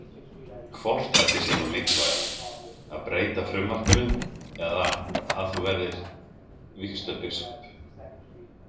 Hvort ætli sé nú mikilvægara að breyta frumvarpinu eða að þú verðir vígslubiskup?